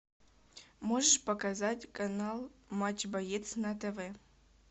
можешь показать канал матч боец на тв